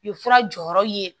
U ye fura jɔyɔrɔ ye